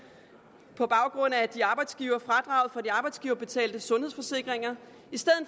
på grund af fradraget for de arbejdsgiverbetalte sundhedsforsikringer